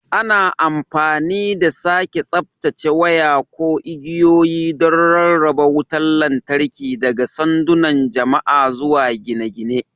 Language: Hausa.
Ana amfani da sake tsaftacewa waya ko igiyoyi don rarraba wutar lantarki daga sandunan jama'a zuwa gine-gine.